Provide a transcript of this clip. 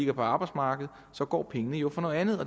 er på arbejdsmarkedet så går pengene jo fra noget andet